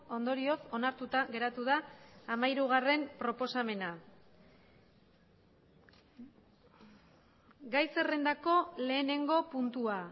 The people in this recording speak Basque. ondorioz onartuta geratu da hamairugarrena proposamena gai zerrendako lehenengo puntua